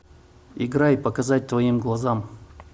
играй показать твоим глазам